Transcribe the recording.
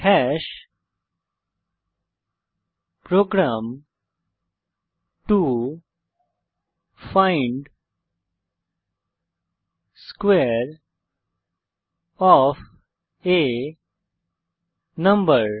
program to find square of a number